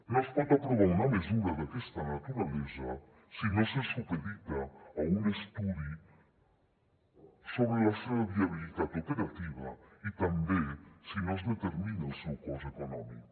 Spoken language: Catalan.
no es pot aprovar una mesura d’aquesta naturalesa si no se supedita a un estudi sobre la seva viabilitat operativa i també si no es determina el seu cost econòmic